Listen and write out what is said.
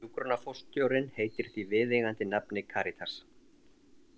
Hjúkrunarforstjórinn heitir því viðeigandi nafni Karítas.